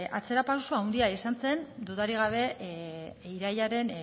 atzerapauso handia izan zen dudarik gabe irailaren